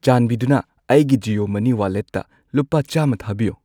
ꯆꯥꯟꯕꯤꯗꯨꯅ ꯑꯩꯒꯤ ꯖꯤꯑꯣ ꯃꯅꯤ ꯋꯥꯂꯦꯠꯇ ꯂꯨꯄꯥ ꯆꯥꯝꯃ ꯊꯥꯕꯤꯌꯨ꯫